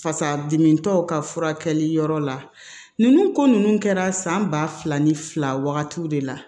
Fasa dimitɔ ka furakɛli yɔrɔ la ninnu ko ninnu kɛra san ba fila ni fila wagati de la